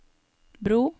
bro